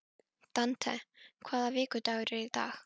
Dante, hvaða vikudagur er í dag?